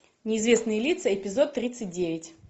неизвестные лица эпизод тридцать девять